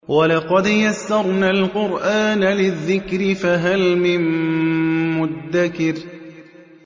وَلَقَدْ يَسَّرْنَا الْقُرْآنَ لِلذِّكْرِ فَهَلْ مِن مُّدَّكِرٍ